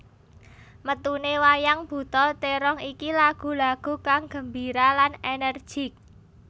Metuné wayang buta térong iki lagu lagu kang gembira lan ènèrjik